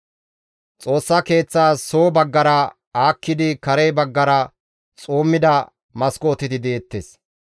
Xoossa Keeththaas soo baggara aakkidi kare baggara xuummida maskooteti deettes.